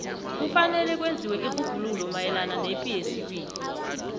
kufanele kwenziwe irhubhululo mayelana nepi yesibili